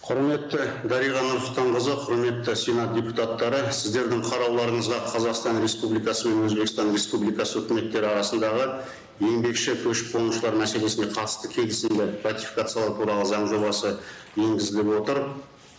құрметті дариға нұрсұлтанқызы құрметті сенат депутаттары сіздердің қарауларыңызға қазақстан республикасы мен өзбекстан республикасы өкіметтері арасындағы еңбекші көшіп қонушылар мәселесіне қатысты келісімді ратификациялау туралы заң жобасы енгізіліп отыр